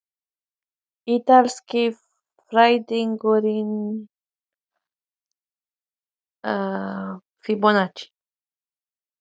Þorbjörn: Hvaðan kemur sú tala, hver leggur hana til?